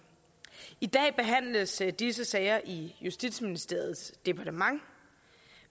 i dag behandles disse sager i justitsministeriets departement